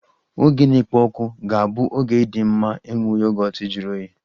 Oge na-ekpo ọkụ ga-abụ oge dị mma iji nwụọ Yogọt juru oyii